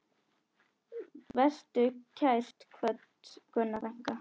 Vertu kært kvödd, Gunna frænka.